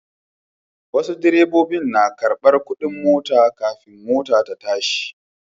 Wasu direbobin nakarɓar kuɗin mota kafin mota ta tashi.